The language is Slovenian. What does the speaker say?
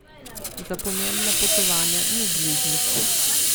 Za pomembna potovanja ni bližnjic.